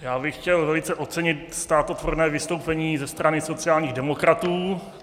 Já bych chtěl velice ocenit státotvorné vystoupení ze strany sociálních demokratů.